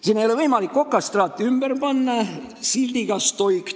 Sinna ei ole võimalik ümber panna okastraati sildiga "Stoi!